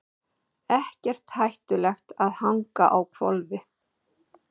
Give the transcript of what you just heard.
Ekkert hættulegt að hanga á hvolfi